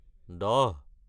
দহ